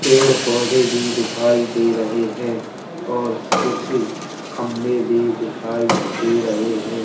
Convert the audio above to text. पेड़ पौधे भी दिखाई दे रहे हैं और कुछ खंबे भी दिखाई दे रहे हैं।